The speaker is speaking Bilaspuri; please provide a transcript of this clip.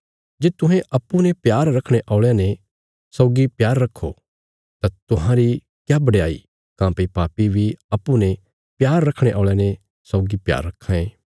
जे तुहें अप्पूँ ने प्यार रखणे औल़यां ने सौगी प्यार रखो तां तुहांरी क्या बडयाई काँह्भई पापी बी अप्पूँ ने प्यार रखणे औल़यां ने सौगी प्यार रखां ये